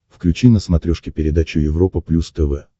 включи на смотрешке передачу европа плюс тв